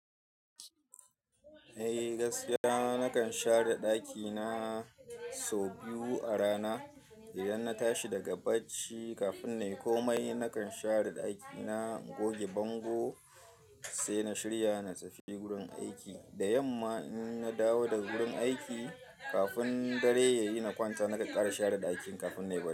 Eh gaskiya, nakan share ɗakina sau biyu a rana. Idan na tashi daga bacci kafin in yi komai, nakan share ɗakina, goge bango sai na shirya na tafi gurin aiki. Da yamma in na dawo daga wurin aiki kafin dare ya yi na kwanta, na kan ƙara share ɗakin kafin na yi bacci.